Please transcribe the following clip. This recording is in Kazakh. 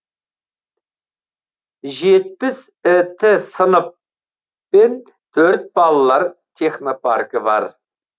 жетпіс іт сынып пен төрт балалар технопаркі бар